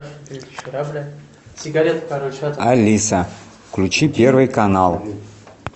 алиса включи первый канал